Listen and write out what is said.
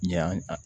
Ɲ'an